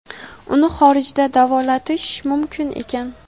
Uni xorijda davolatish mumkin ekan.